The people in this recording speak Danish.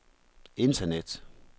internet